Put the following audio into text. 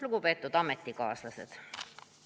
Lugupeetud ametikaaslased!